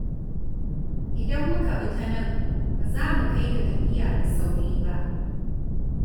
Idan muka bi ta nan, ba za mu kai ga tafiya da sauri ba.